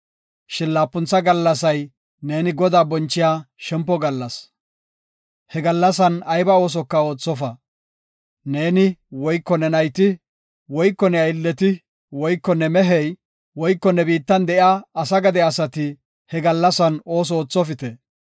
Shin laapuntha gallasay neeni Godaa bonchiya shempo gallas. He gallasan ayba oosoka oothofa. Neeni, woyko ne nayti, woyko ne aylleti, woyko ne mehey, woyko ne biittan de7iya asa gade asati he gallasan ooso oothopite.